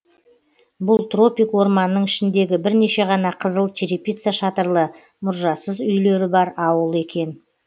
бұл тропик орманның ішіндегі бірнеше ғана қызыл черепица шатырлы мұржасыз үйлері бар ауыл екен